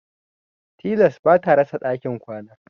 Tilas bata rasa ɗakin kwana.